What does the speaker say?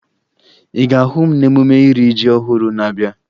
Ị ga-ahụ m n'emume iri ji ọhụrụ na-abịa